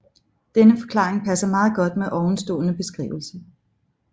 Denne forklaring passer meget godt med ovenstående beskrivelse